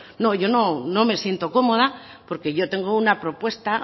no yo no me siento cómoda porque yo tengo una propuesta